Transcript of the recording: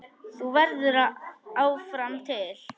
Þú verður áfram til.